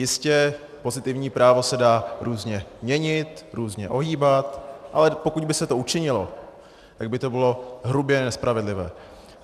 Jistě, pozitivní právo se dá různě měnit, různě ohýbat, ale pokud by se to učinilo, tak by to bylo hrubě nespravedlivé.